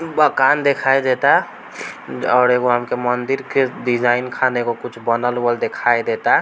बकान दिखाई देता और एगो मंदिर के डिजाईन खान कुछ बनल उनल दिखाई देता |